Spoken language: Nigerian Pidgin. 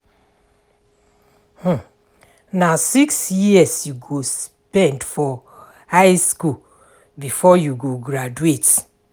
Na six years you go spend for high skool before you go graduate.